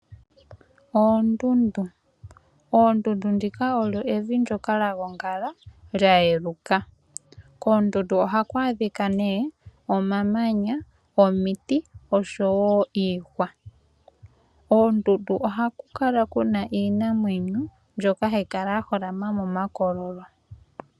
Oondundu, oondundu ndhika olyo evi ndyoka lyagongala lyayeluka. Koondundu ohaku adhika nee omamanya, omiti oshowo iihwa. Oondundu ohaku kala kuna iinamwenyo mbyoka hayi kala ya holama momakololo.